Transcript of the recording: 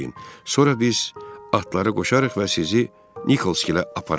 Sonra biz atları qoşarıq və sizi Nikolsgilə apararıq.